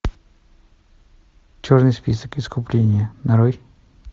черный список искупление нарой